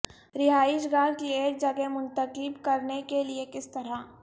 رہائش گاہ کی ایک جگہ منتخب کرنے کے لئے کس طرح